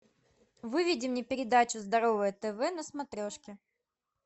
выведи мне передачу здоровое тв на смотрешке